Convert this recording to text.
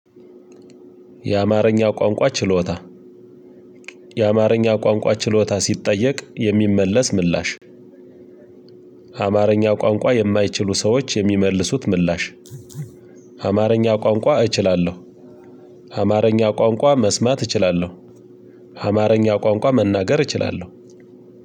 የአማርኛ ቋንቋ ችሎታ የአማርኛ ቋንቋ ችሎታ ሲጠየቅ የሚመለስ ምላሽ። አማርኛ ቋንቋ የማይችሉ ሰዎች የሚመልሱት ምላሽ። አማርኛ ቋንቋ እችላለሁ። አማርኛ ቋንቋ መስማት እችላለሁ። አማርኛ ቋንቋ መናገር እችላለሁ።